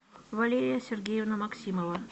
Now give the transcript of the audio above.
валерия сергеевна максимова